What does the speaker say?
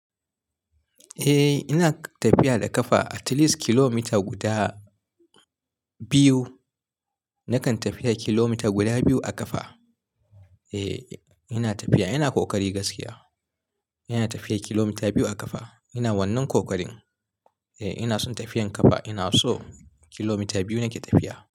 Eh ina tafiya da ƙafa at least kilomita guda biyu. Nakan tafiya kilomita guda biyu a ƙafa. Eh ina tafiya, ina ƙoƙari gaskiya. Ina tafiya kilomita biyu a ƙafa. Ina wannan ƙoƙarin. Eh ina son tafiyar ƙafa. Ina so kilomita biyu nake tafiya.